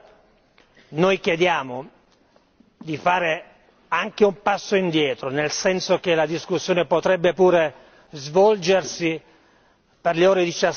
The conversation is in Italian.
E allora, noi chiediamo di fare anche un passo indietro nel senso che la discussione potrebbe pure svolgersi per le ore